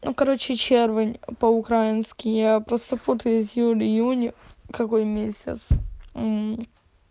ну короче червень по-украински я просто путаюсь июль июнь какой месяц